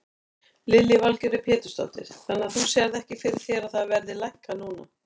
Lillý Valgerður Pétursdóttir: Þannig að þú sérð ekki fyrir þér að það verði lækkað núna?